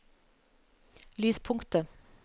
lyspunktet